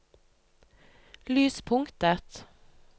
lyspunktet